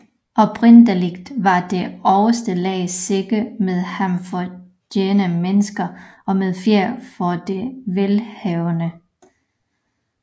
Oprindeligt var det øverste lag sække med halm for jævne mennesker og med fjer for de velhavende